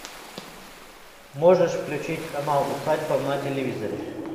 можешь включить канал усадьба на телевизоре